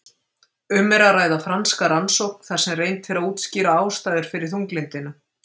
Um er að ræða franska rannsókn þar sem reynt er að útskýra ástæður fyrir þunglyndinu.